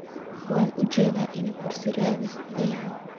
Waan uujedaa inad kursi raadis thy.